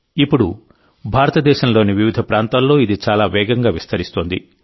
ఇప్పుడు భారతదేశంలోని వివిధ ప్రాంతాల్లో ఇది చాలా వేగంగా విస్తరిస్తోంది